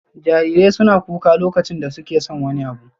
Jarirai suna kuka lokacin da suke son wani abu.